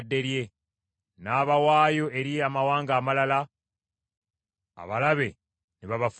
N’abawaayo eri amawanga amalala, abalabe ne babafuga.